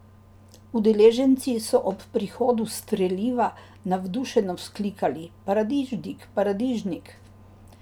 Udeleženci so ob prihodu "streliva" navdušeno vzklikali: "Paradižnik, paradižnik".